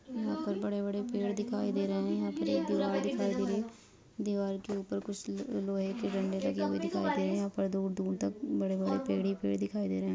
यहाँ पर बड़े-बड़े पेड़ दिखाई दे रहे है एक दीवार दिखाई दे रही है दीवार के ऊपर कुछ ल-लोहे के डंडे दिखाई दे रहे है यहाँ पर दूर-दूर तक बड़े-बड़े पेड़ ही पेड़ दिखाई दे रहे है।